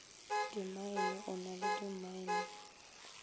dimmaene o na le dimmaene